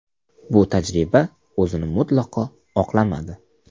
Bu tajriba o‘zini mutlaqo oqlamadi.